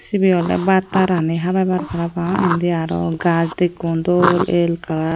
sibe ole batta rani habebak parapang indi arow gaj dekkon dol el gaj.